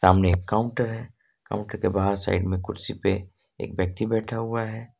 सामने काउंटर के पास साइड में कुर्सी पर एक व्यक्ति बैठा हुआ है।